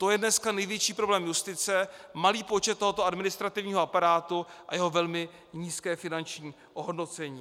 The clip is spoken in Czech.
To je dneska největší problém justice - malý počet tohoto administrativního aparátu a jeho velmi nízké finanční ohodnocení.